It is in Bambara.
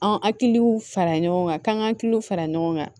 An hakiliw fara ɲɔgɔn kan k'an kakiliw fara ɲɔgɔn kan